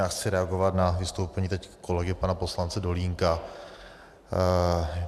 Já chci reagovat na vystoupení teď kolegy pana poslance Dolínka.